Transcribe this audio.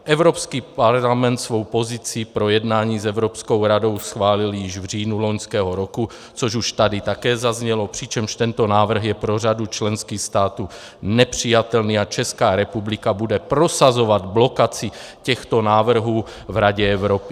Evropský parlament svou pozici pro jednání s Evropskou radou schválil již v říjnu loňského roku, což už tady také zaznělo, přičemž tento návrh je pro řadu členských států nepřijatelný, a Česká republika bude prosazovat blokaci těchto návrhů v Radě Evropy.